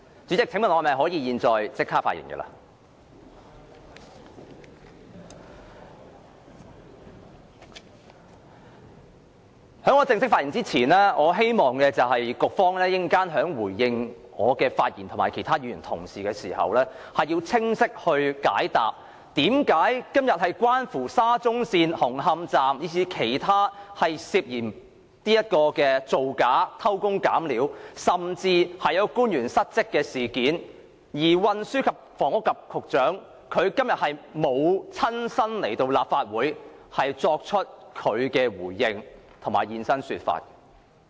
在我正式發言前，我希望副局長稍後回應我及其他議員的發言時，能清晰地向我們解釋，今天的議題是有關沙中線紅磡站，以至其他涉嫌造假，偷工減料，甚至官員失職的事件，為何運輸及房屋局局長沒有出席立法會會議作出回應。